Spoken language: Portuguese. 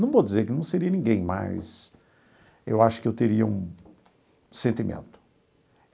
Não vou dizer que não seria ninguém, mas eu acho que eu teria um sentimento.